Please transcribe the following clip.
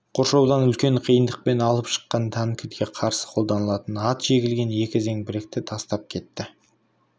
қоршаудан үлкен қиындықпен алып шыққан танкіге қарсы қолданылатын ат жегілген екі зеңбіректі тастап кетті